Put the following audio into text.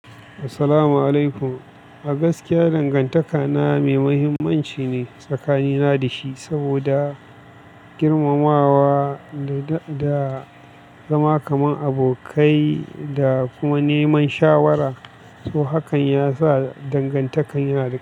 Assalamu alaikum. A gaskiya dangantakana mai muhimmanci ne tsakanina da shi saboda girmamawa da, da zama kaman abokai da kuma neman shawara. To hakan ya sa dangantakan ya dahu.